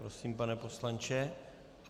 Prosím, pane poslanče.